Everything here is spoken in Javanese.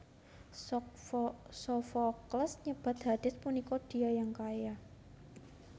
Sofokles nyebat Hades punika Dia Yang Kaya